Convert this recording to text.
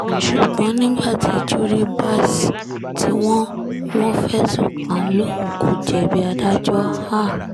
ṣùgbọ́n nígbà tí juribas tí wọ́n wọ́n fẹ̀sùn kàn lòun kò jẹ̀bi adájọ́ a